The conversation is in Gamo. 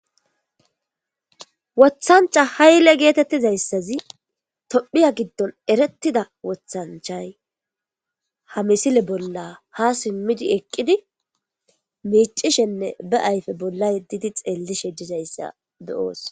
Wothancha hayle geetettizayssazi tophiya giddon erettida wothanchay ha misile bolla ha simmidi eqqidi miicishenne be ayfe bolla yeddidi xeellishe dizayssa beyoos.